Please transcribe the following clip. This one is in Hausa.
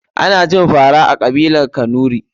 Ana cin fara a kabilar kanuri.